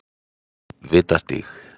Vitastíg